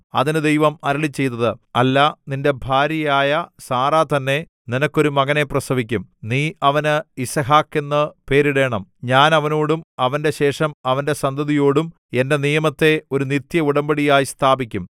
അതിന് ദൈവം അരുളിച്ചെയ്തത് അല്ല നിന്റെ ഭാര്യയായ സാറാ തന്നെ നിനക്കൊരു മകനെ പ്രസവിക്കും നീ അവന് യിസ്ഹാക്ക് എന്ന് പേരിടേണം ഞാൻ അവനോടും അവന്റെ ശേഷം അവന്റെ സന്തതിയോടും എന്റെ നിയമത്തെ ഒരു നിത്യഉടമ്പടിയായി സ്ഥാപിക്കും